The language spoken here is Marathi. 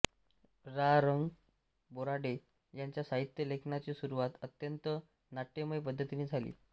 रा रं बोराडे यांच्या साहित्य लेखनाची सुरुवात अत्यंत नाट्यमय पद्धतीने झाली